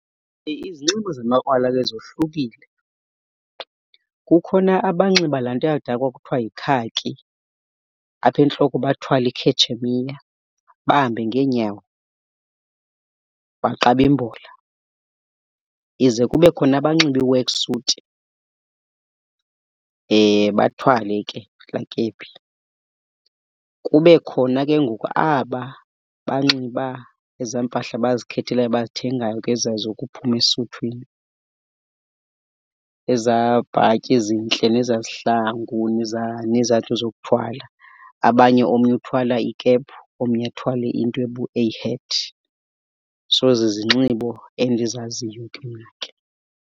Izinxibo zamakrwala ke zohlukile. Kukhona abanxiba laa nto yakudala kwakuthiwa yikhaki, apha entloko bathwale ikhetshemiya, bahambe ngeenyawo, baqabe imbola. Ize kube khona abanxiba i-work suit, bathwale ke laa kephi. Kube khona ke ngoku aba banxiba ezaa mpahla bazikhethelayo bazithengayo ke zokuphuma esuthwini, ezaa bhatyi zintle nezaa zihlangu, nezaa, nezaa nto zokuthwala. Abanye omnye uthwala ikephu omnye athwale into a hat. So zizinxibo endizaziyo ke mna ke.